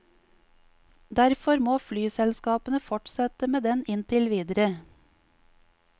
Derfor må flyselskapene fortsette med den inntil videre.